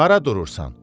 Hara durursan?